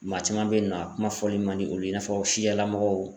Maa caman be yen nɔ a kuma fɔli man di olu ye i n'a fɔ siya mɔgɔw